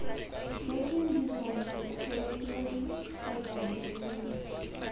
jetseng dijalo tlhophileng kgotsa dirileng